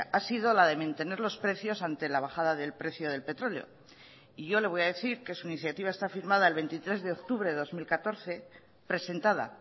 ha sido la de mantener los precios ante la bajada del precio del petróleo y yo le voy a decir que su iniciativa está firmada el veintitrés de octubre de dos mil catorce presentada